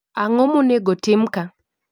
Ang'o monego tim kaa?